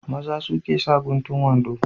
Maza suke sa guntun wando.